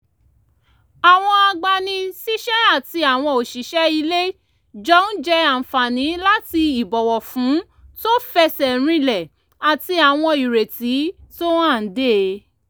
àwọn agbani-síṣẹ́ àti àwọn òṣìṣẹ́ ilé jọ ń jẹ àǹfààní láti ìbọ̀wọ̀fún tó fẹsẹ̀ rinlẹ̀ àti àwọn ìrètí tó hànde